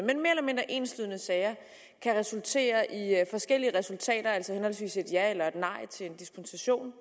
kan resultere i forskellige resultater altså henholdsvis et ja eller et nej til en dispensation